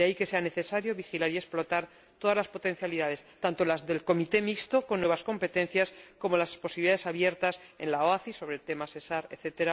De ahí que sea necesario vigilar y explotar todas las potencialidades, tanto las del Comité Mixto, con nuevas competencias, como las posibilidades abiertas en la OACI sobre el tema SESAR, etc.,